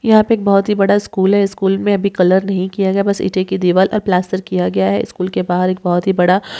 यहाँ पे एक बहोत ही बडा स्कूल है स्कूल में अभी कलर नहीं किया गया बस ईटे की दीवाल ओर प्लास्टर किया गया है स्कूल के बहार एक बहोत ही बडा --